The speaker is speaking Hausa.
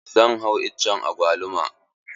Zan hau iccen agwaluma.